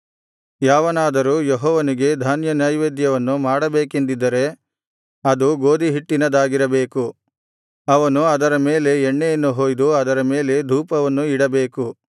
ಯಾವನಾದರೂ ಯೆಹೋವನಿಗೆ ಧಾನ್ಯನೈವೇದ್ಯವನ್ನು ಮಾಡಬೇಕೆಂದಿದ್ದರೆ ಅದು ಗೋದಿಹಿಟ್ಟಿನದಾಗಿರಬೇಕು ಅವನು ಅದರ ಮೇಲೆ ಎಣ್ಣೆಯನ್ನು ಹೊಯ್ದು ಅದರ ಮೇಲೆ ಧೂಪವನ್ನು ಇಡಬೇಕು